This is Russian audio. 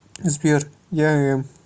сбер я эм